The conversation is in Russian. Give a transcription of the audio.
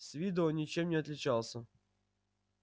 с виду он ничем не отличался